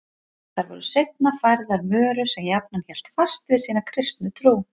Þær voru seinna færðar Möru sem jafnan hélt fast við sína kristnu trú.